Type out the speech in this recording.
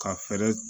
Ka fɛɛrɛ